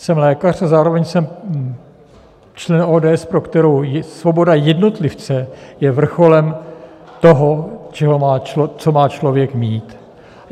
Jsem lékař a zároveň jsem člen ODS, pro kterou svoboda jednotlivce je vrcholem toho, co má člověk mít.